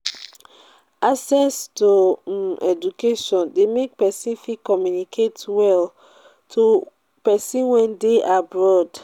access to um education de make persin fit communicate well to persin wey de abroad